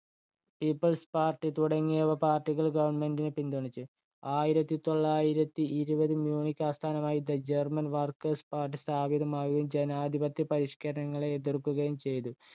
people's party തുടങ്ങിയ party കള്‍ government നെ പിന്തുണച്ചു. ആയിരത്തി തൊള്ളായിരത്തി ഇരുപതിൽ മ്യൂണിക്ക് ആസ്ഥാനമാക്കി the german workers party സ്ഥാപിതമാവുകയും ജനാധിപത്യ പരിഷ്കരണങ്ങളെ എതിർക്കുകയും ചെയ്തു.